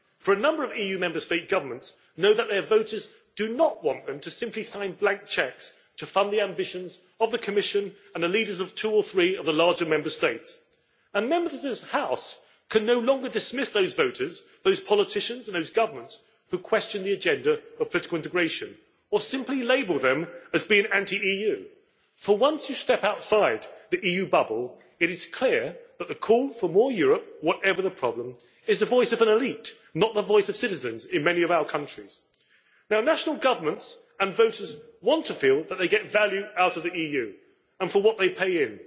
A number of EU Member State governments know that their voters do not want them to simply sign blank cheques to fund the ambitions of the Commission and the leaders of two or three of the larger Member States. Members of this House can no longer dismiss those voters, those politicians and those governments who question the agenda of political integration or simply label them as being anti EU, for once you step outside the EU bubble, it is clear that the call for more Europe, whatever the problem, is the voice of an elite, not the voice of citizens in many of our countries. National governments and voters want to feel that they get value out of the EU for what they pay in.